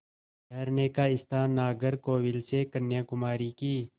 ठहरने का स्थान नागरकोविल से कन्याकुमारी की